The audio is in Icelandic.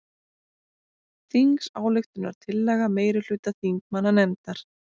Þingsályktunartillaga meirihluta þingmannanefndar